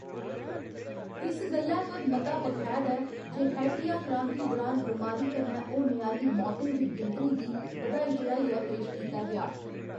इस गल्लै पर मता बखैध ऐ जे हैटीया क्रांति दुरान बमारी कन्नै होने आह्‌ली मौतें दी गिनतरी गी बधाई चढ़ाइयै पेश कीता गेआ।